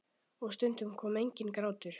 Og stundum kom enginn grátur.